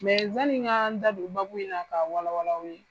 zanni n ka n da don in na ka wala wala aw ye.